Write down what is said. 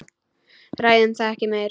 Ræðum það ekki meir.